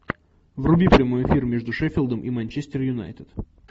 вруби прямой эфир между шеффилдом и манчестер юнайтед